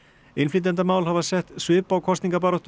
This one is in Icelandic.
innflytjendamál hafa sett svip á kosningabaráttuna